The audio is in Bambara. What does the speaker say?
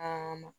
Aa